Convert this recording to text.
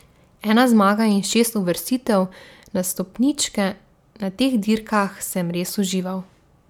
Ena zmaga in šest uvrstitev na stopničke, na teh dirkah sem res užival.